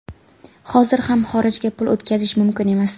Hozir ham xorijga pul o‘tkazish mumkin emas.